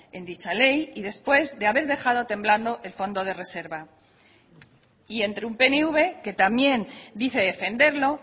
en dicha ley y después de haber dejado temblando el fondo de reserva y entre un pnv que también dice defenderlo